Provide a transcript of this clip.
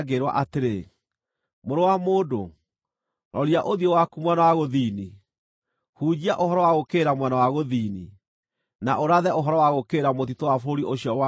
“Mũrũ wa mũndũ, roria ũthiũ waku mwena wa gũthini; hunjia ũhoro wa gũũkĩrĩra mwena wa gũthini, na ũrathe ũhoro wa gũũkĩrĩra mũtitũ wa bũrũri ũcio wa mwena wa gũthini.